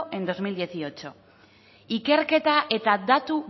en bi mila hemezortzi ikerketa eta datu